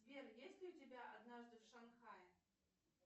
сбер есть ли у тебя однажды в шанхае